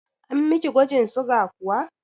An miki gwajin suga kuwa?